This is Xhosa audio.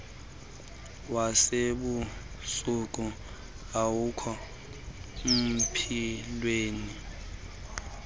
wasebusuku awukho mpilweni